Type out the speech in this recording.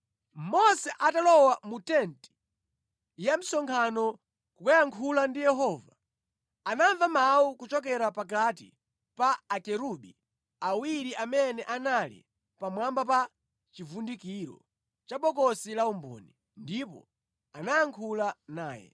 Mose atalowa mu tenti ya msonkhano kukayankhula ndi Yehova, anamva mawu kuchokera pakati pa Akerubi awiri amene anali pamwamba pa chivundikiro cha bokosi la umboni. Ndipo anayankhula naye.